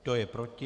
Kdo je proti?